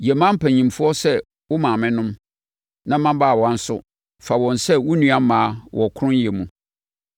yɛ mmaa mpanimfoɔ sɛ wo maamenom, na mmabaawa nso, fa wɔn sɛ wo nnuammaa wɔ kronnyɛ mu.